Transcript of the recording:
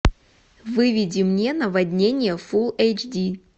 выведи мне наводнение фул эйч ди